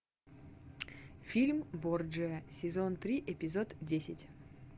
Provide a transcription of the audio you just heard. фильм борджиа сезон три эпизод десять